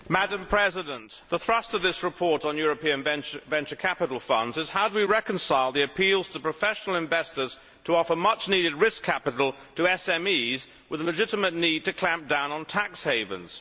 Madam President, the thrust of this report on European venture capital funds is how do we reconcile the appeals to professional investors to offer much needed risk capital to SMEs with the legitimate need to clamp down on tax havens?